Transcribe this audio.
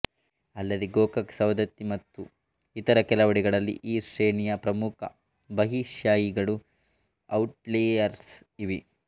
ಅಲ್ಲದೆ ಗೋಕಾಕ್ ಸವದತ್ತಿ ಮತ್ತು ಇತರ ಕೆಲವೆಡೆಗಳಲ್ಲಿ ಈ ಶ್ರೇಣಿಯ ಪ್ರಮುಖ ಬಹಿಶ್ಯಾಯಿಗಳೂ ಔಟ್ಲೈಯರ್ಸ್ ಇವೆ